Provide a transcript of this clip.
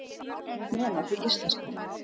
Nema því íslenska.